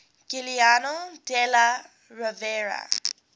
giuliano della rovere